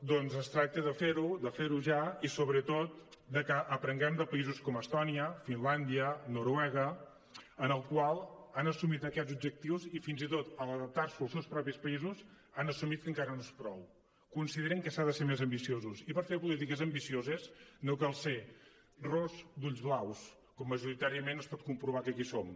doncs es tracta de fer ho de fer ho ja i sobretot de que aprenguem de països com estònia finlàndia noruega en els quals han assumit aquests objectius i fins i tot a l’adaptar s’ho als seus propis països han assumit que encara no és prou consideren que s’ha de ser més ambiciós i per fer polítiques ambicioses no cal ser ros d’ulls blaus com majoritàriament es pot comprovar que aquí som